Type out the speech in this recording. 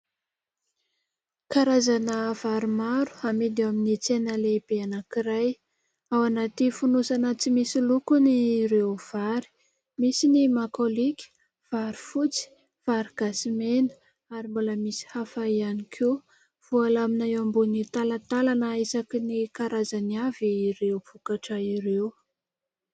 Karazana vary maro amidy amin'ny tsena lehibe anankiray. Ao anaty fonosana tsy misy lokony ireo vary. Misy ny makôlika, vary fotsy, vary gasy mena ary mbola misy hafa ihany koa. Voalamina eo ambony talantalana isaky ny karazany avy ireo vokatra ireo.